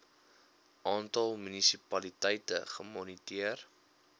aantal munisipaliteite gemoniteer